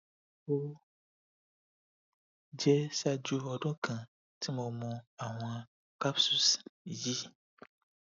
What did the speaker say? o jẹ ṣaaju ọdun kan ti mo mu awọn capsules yii